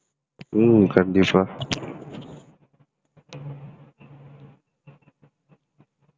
ஹம் கண்டிப்பா